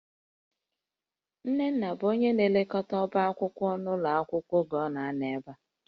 Nnenna bụ onye na-elekọta ọbá akwụkwọ ụlọ akwụkwọ a n'oge ọ nọ ebe a